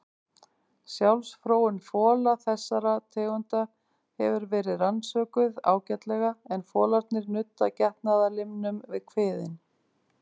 Sjálfsfróun fola þessara tegunda hefur verið rannsökuð ágætlega en folarnir nudda getnaðarlimnum við kviðinn.